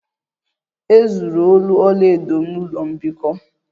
E zuru olu ọlaedo m n'ụlọ mbikọ